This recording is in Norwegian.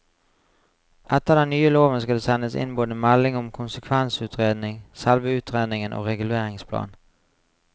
Etter den nye loven skal det sendes inn både melding om konsekvensutredning, selve utredningen og reguleringsplan.